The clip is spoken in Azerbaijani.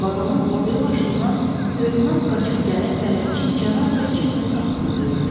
Vaqonun o biri başından hölünə qaçıb gələn bələdçi cənab Riçetin qapısını döyürdü.